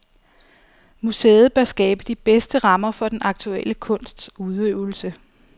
Museet bør skabe de bedste rammer for den aktuelle kunsts udøvelse.